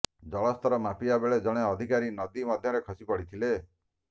ଜଳସ୍ତର ମାପିବା ବେଳେ ଜଣେ ଅଧିକାରୀ ନଦୀ ମଧ୍ୟରେ ଖସି ପଡିଥିଲେ